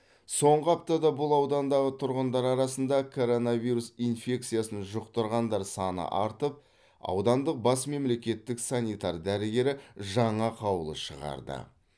соңғы аптада бұл аудандағы тұрғындар арасында коронавирус инфекциясын жұқтырғандар саны артып аудандық бас мемлекеттік санитар дәрігері жаңа қаулы шығарды